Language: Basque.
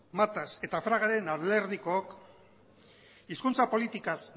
matas eta fragaren alderdikook hizkuntza politikaz